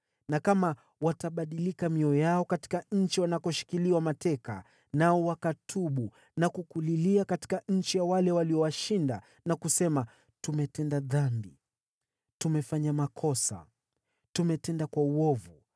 na kama watabadilika mioyo yao katika nchi wanakoshikiliwa mateka, nao wakatubu na kukulilia katika nchi ya wale waliowashinda na kusema, ‘Tumetenda dhambi, tumefanya makosa, tumetenda uovu’;